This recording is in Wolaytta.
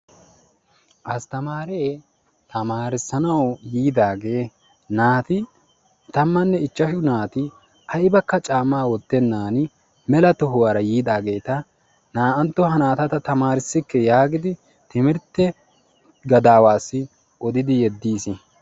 Astamaaree tamarssanawu yiidaagee naati tammanne ichchashshu naati aybakka caammaa wottenaan mela tohuwara yiidaageeta naa"anttuwa ha naata tamarssikke yaagidi timirtte gadaawaassi odidi yediis.